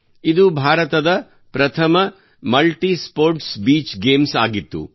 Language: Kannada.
ಇದು ಭಾರತದ ಪ್ರಥಮ ಮಲ್ಟಿಸ್ಪೋರ್ಟ್ಸ್ ಬೀಚ್ ಗೇಮ್ಸ್ ಆಗಿತ್ತು